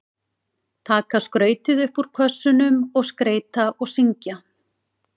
Taka skrautið upp úr kössunum og skreyta og syngja.